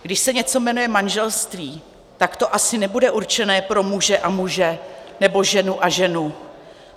Když se něco jmenuje manželství, tak to asi nebude určené pro muže a muže nebo ženu a ženu.